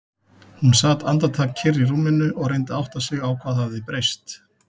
Hún sat andartak kyrr í rúminu og reyndi að átta sig á hvað hafði breyst.